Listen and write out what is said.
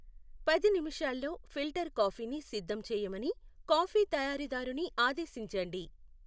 పది నిమిషాల్లో ఫిల్టర్ కాఫీని సిద్ధం చేయమని కాఫీ తయారీదారుని ఆదేశించండి